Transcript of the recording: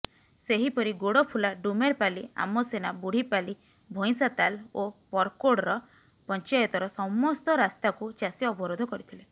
ସେହିପରି ଗୋଡଫୁଲା ଡୁମେରପାଣି ଆମସେନା ବୁଢିପାଲି ଭଇଁଷାତାଲ ଓ ପରକୋଡର ପଞ୍ଚାୟତର ସମସ୍ତ ରାସ୍ତାକୁ ଚାଷୀ ଅବରୋଧ କରିଥିଲେ